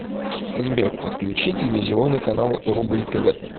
сбер подключи телевизионный канал рубль тв